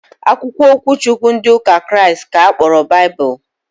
Akwụkwọ okwu Chukwu ndị ụka Kraịst ka a kpọrọ Baịbụl